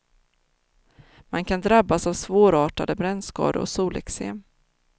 Man kan drabbas av svårartade brännskador och soleksem.